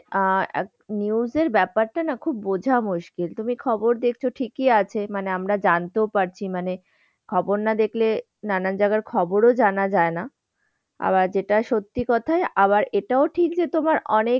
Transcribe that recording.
আর news এর ব্যাপারটা না খুব বুঝা মুশকিল, তুমি খবর দেখছো ঠিকই আছে মানে আমরা জানতেও পারছি মানে আমরা খবর না দেখলে নানান জায়গার খবরও জানা যায় না। আবার যেটা সত্যি কথা, আবার এটাও ঠিক যে তোমার অনেক,